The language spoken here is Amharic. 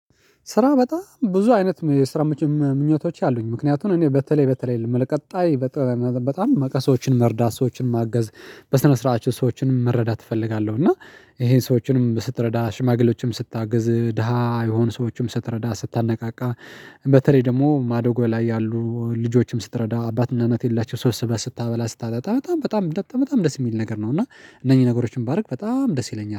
ስራ በጣም ብዙ አይነት የስራ ምኞቶች አሉኝ ምክንያቱም እኔ በተለይ በተለይ የምልህ ቀጣይ በጣም በቃ ሰዎችን መርዳት ሰዎችን ማገዝ በስነ ስርዓታቸው ሰዎችንም መረዳት እፈልጋለሁ እና ይሄን ሰዎችንም ስትረዳ ሽማግሌዎችም ስታግዝ ድሃ የሆኑ ሰዎችም ስትረዳ ስታነቃቃ በተለይ ደግሞ ማዶጎ ላይ ያሉ ልጆችም ስትረዳ አባትና እናት የሌላቸውን ሰብስበህ ስታበላ ስታጣጣ በጣም በጣም በጣ በጣም ደስ የሚል ነገር ነው እና እነኚህ ነገሮችን ባደርግ በጣም ደስ ይለኛል።